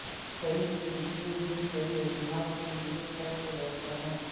کئی کے لئے یہ کئی وجوہات کے لئے سب سے بہتر ہے